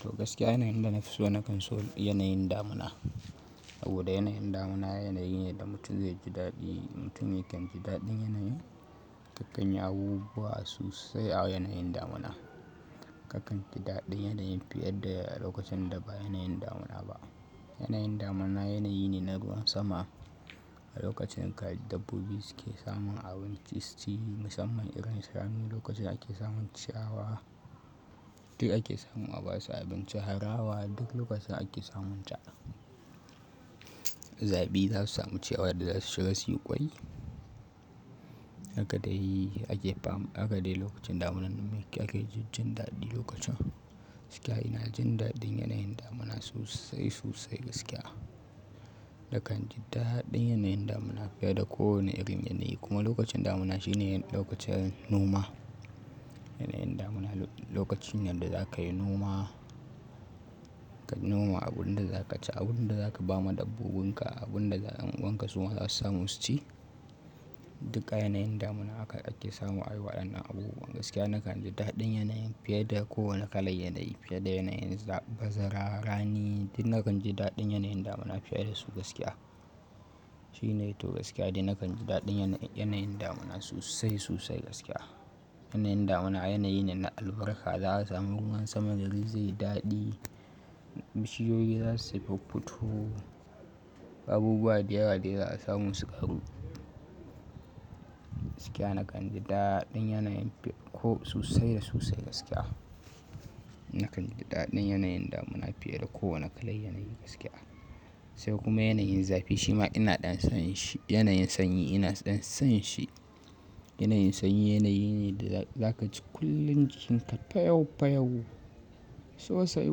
To gaskiya yanayin da na fi so na kan so yanayin damuna. Saboda yanayin damuna yanayi ne da mutum zai ji daɗi. Mutum yakan ji daɗin yanayin, kakanyi abubuwa so sai a yanayin damuna. Kakan ji daɗin yanayin fiye da lokacin da ba yanayin damuna ba. Yanayin damuna yanayi ne na ruwan sama. A lokacin ka dabbobi suke samun abinci, su ci musamman irin shanu lokacin ake samun ciyawa, duk ake samun aba su abinci harawa duk lokacin ake samun ta. Zaɓi za su samu ciyawa da za su shiga su yi ƙwai. Haka dai ake fam, haka dai lokacin damunan namayi ake jin daɗi lokacin. Gaskiya ina jin daɗin yanayin damuna sosai sosai gaskiya. Nakan ji daɗin yanayin damuna fiye da kowane irin yanayi kuma lokacin damuna shine lokacin noma. Yanayin damuna lokacin ne da za ka yi noma, ka noma abun da za ka ci, abun da za ka ba ma dabbobinka, abun da ɗan uwanka su ma za su sami su ci. Duka yanayin damuna haka ake samu a waɗannan abubuwa. Gaskiya nakan ji daɗin yanayin fiye da kowane kalan yanayi, fiye da yanayin bazara rani duk nakan ji daɗin yanayin damuna fiye da su gaskiya. Shi ne to gaskiya, duk nakan ji daɗin yanayin damuna sosai sosai gaskiya. Yanayin damuna yanayi ne na albarka, za a samu ruwan sama da zai daɗe, bishiyoyi za su fuffuto, abubuwa dayawa dai za a samu su ƙaru. Gaskiya nakan ji daɗin yanayin ko sosai da sosai gaskiya. Nakan ji daɗin yanayin damuna fiye da kowane kalan yanayi gaskiya. Sai kuma yanayin zafi shi ma ina ɗan son shi. Yanayin sanyi ina ɗan son shi. Yanayin sanyi yanayi ne da za ka ci kullun jikinka payaupayau, sosai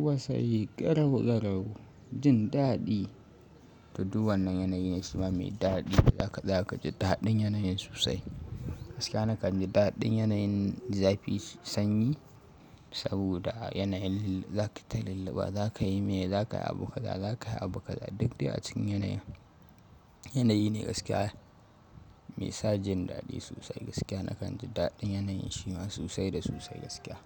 wasai, garau garau, jin daɗi. To, duk wannan yanayi ne shi ma mai daɗi. Haka za ka ji daɗin yanayin sosai. Gaskiya nakan ji daɗin yanayin zafi sanyi saboda a yanayin za ki ta lulluɓa, za ka yi miya, za ka yi abu kaza, za ka yi abu kaza. Duk dai a cikin yanayi. Yanayi ne gaskiya me sa jin daɗi sosai gaskiya. Nakan ji daɗin yanayin shi ma sosai da sosai gaskiya.